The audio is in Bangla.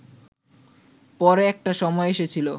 পরে একটা সময় এসেছিল